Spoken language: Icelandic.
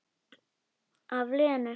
Af Lenu.